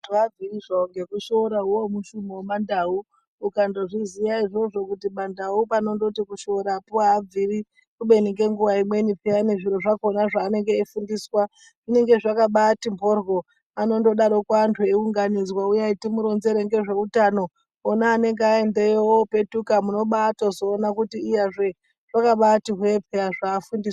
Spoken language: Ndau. Abviri zvawo ngekushora uwowo mushumo wemandau ukandozviziya izvozvo kuti mandau panondoti kushorapo aabviri kubeni ngenguwa imweni peya zviro zvakona zvaanenge eifundiswa zvinenge zvakaba ati mhoryo anondodaroko anhu eiunganidzwa uyai timuronzere ngezve utano ona anenge aendeyo opetuka munobamatozoone kuti iyazve zvakabati hwe peya zvaafundiswa.